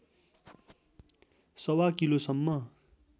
सवा किलोसम्म